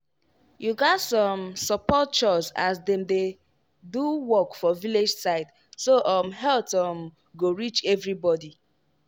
you gatz um support chws as dem dey do work for village side so um health um go reach everybody.